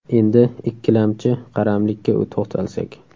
Endi ikkilamchi qaramlik ka to‘xtalsak.